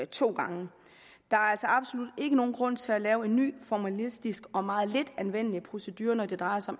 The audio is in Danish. to gange der er altså absolut ikke nogen grund til at lave en ny formalistisk og meget lidt anvendelig procedure når det drejer sig